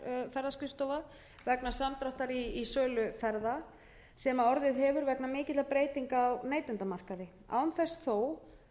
ferðaskrifstofa vegna samdráttar í sölu ferða sem orðið hefur vegna mikilla breytinga á neytendamarkaði án þess þó að skerða þá